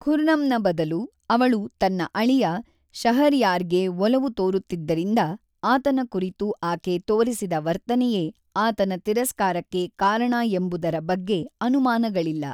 ಖುರ್ರಮ್‌ನ ಬದಲು ಅವಳು ತನ್ನ ಅಳಿಯ ಶಹರ್ಯಾರ್‌ಗೆ ಒಲವು ತೋರುತ್ತಿದ್ದರಿಂದ ಆತನ ಕುರಿತು ಆಕೆ ತೋರಿಸಿದ ವರ್ತನೆಯೇ ಆತನ ತಿರಸ್ಕಾರಕ್ಕೆ ಕಾರಣ ಎಂಬುದರ ಬಗ್ಗೆ ಅನುಮಾನಗಳಿಲ್ಲ.